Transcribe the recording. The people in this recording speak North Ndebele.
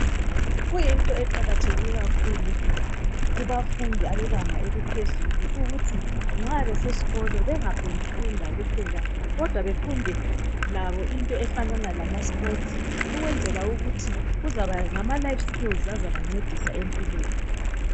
Kuyinto eqakatheke kakhulu kubafundi abebanga eliphezulu ukuthi, nxa beseskolo bengaphong'kufunda kuphela kodwa befunde labo into efanana lamasport. Ukwenzela ukuthi kuzaba ngama life skills azabancedisa empilweni.